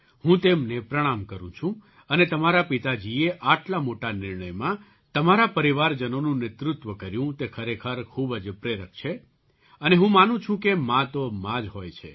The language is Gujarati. હું તેમને પ્રણામ કરું છું અને તમારા પિતાજીએ આટલા મોટા નિર્ણયમાં તમારા પરિવારજનોનું નેતૃત્વ કર્યું તે ખરેખર ખૂબ જ પ્રેરક છે અને હું માનું છું કે મા તો મા જ હોય છે